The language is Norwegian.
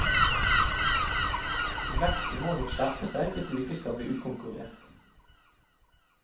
Vesten må nok skjerpe seg hvis du ikke skal bli utkonkurrert.